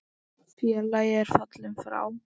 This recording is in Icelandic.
Félagi er fallinn frá.